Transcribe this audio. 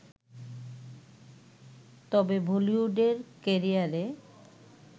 তবে বলিউডের ক্যারিয়ারে